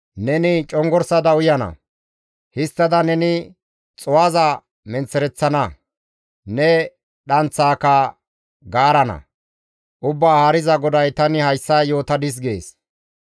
Neni congorsada uyana; histtada neni xuu7aza menththereththana; ne dhanththaaka gaarana; Ubbaa Haariza GODAY tani hayssa yootadis› gees.